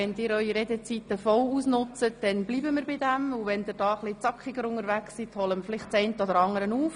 Wenn Sie Ihre Redezeiten jeweils voll ausnützen, bleibt dieser Rückstand bestehen, doch wenn Sie sich kürzer fassen, holen wir vielleicht ein wenig auf.